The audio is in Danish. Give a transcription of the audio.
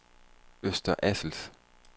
Øster Assels